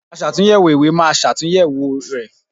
Aṣàtúnyẹ̀wò ìwé máa ṣàtúnyẹ̀wò ẹ̀.